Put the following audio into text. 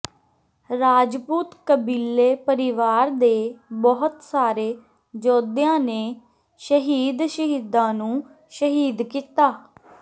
ਰਾਜਪੂਤ ਕਬੀਲੇ ਪਰਿਵਾਰ ਦੇ ਬਹੁਤ ਸਾਰੇ ਯੋਧਿਆਂ ਨੇ ਸ਼ਹੀਦ ਸ਼ਹੀਦਾਂ ਨੂੰ ਸ਼ਹੀਦ ਕੀਤਾ